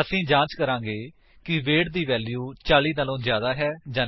ਅਸੀ ਜਾਂਚ ਕਰਾਂਗੇ ਕਿ ਵੇਟ ਦੀ ਵੈਲਿਊ 40 ਤੋਂ ਜਿਆਦਾ ਹੈ ਜਾਂ ਨਹੀਂ